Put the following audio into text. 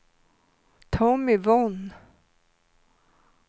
Tommy Von